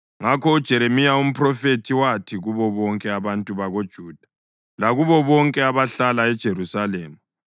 Ngakho uJeremiya umphrofethi wathi kubo bonke abantu bakoJuda lakubo bonke abahlala eJerusalema: